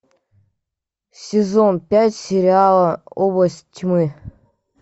сезон пять сериала область тьмы